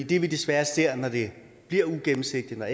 det vi desværre ser når det bliver uigennemsigtigt og